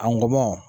Angɔ